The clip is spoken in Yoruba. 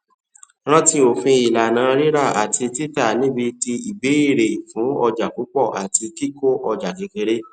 rántí òfin ìlànà rírà àti títànibiti ìbéèrè fún òjá púpọ àti kiko ọjà kékeré